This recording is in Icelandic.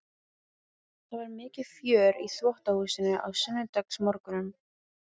Það var mikið fjör í þvottahúsinu á sunnudagsmorgnum.